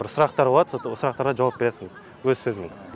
бір сұрақтар болады сол сұрақтарға жауап бересің өз сөзіңмен